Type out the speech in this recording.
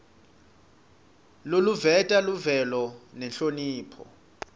loluveta luvelo nenhlonipho